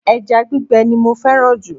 Eja gbígbe ni mo féràn jù